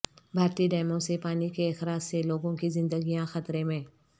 بھارتی ڈیموں سے پانی کے اخراج سے لوگوں کی زندگیاں خطرے میں